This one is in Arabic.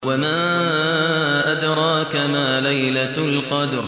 وَمَا أَدْرَاكَ مَا لَيْلَةُ الْقَدْرِ